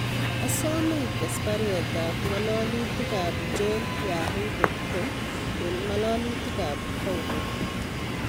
Asome ites baruet ab ngalalutik ab John yahoo dot com en ngalalutik ap paulo